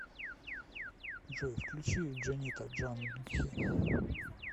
джой включи джонита джандхи